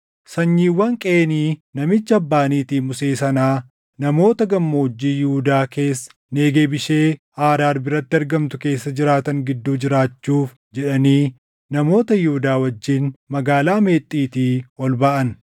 Sanyiiwwan Qeenii namicha abbaa niitii Musee sanaa namoota gammoojjii Yihuudaa keessa Negeeb ishee Aaraad biratti argamtu keessa jiraatan gidduu jiraachuuf jedhanii namoota Yihuudaa wajjin Magaalaa Meexxiitii ol baʼan.